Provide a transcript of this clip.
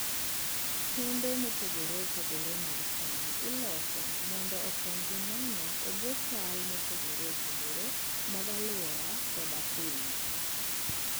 Kembe mopogore opogore mag cham iloso mondo okonygi nano e bwo chal mopogore opogore mag alwora koda kwiny.